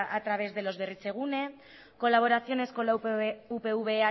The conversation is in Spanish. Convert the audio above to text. a través de los berritzegunes colaboraciones con las upv